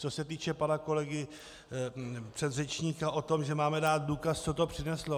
Co se týče pana kolegy předřečníka o tom, že máme dát důkaz, co to přineslo.